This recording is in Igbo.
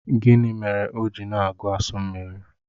Gịnị mere o ji na-agu asu mmiri?